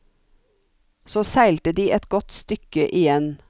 Så seilte de et godt stykke igjen.